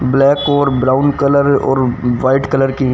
black और brown colour और white colour की--